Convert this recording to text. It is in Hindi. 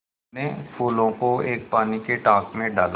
मनु ने फूलों को एक पानी के टांक मे डाला